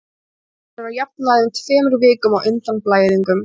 Egglos verður að jafnaði um tveimur vikum á undan blæðingum.